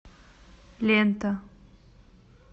лента